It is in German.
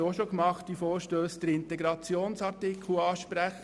Ich muss wieder einmal den Integrationsartikel ansprechen.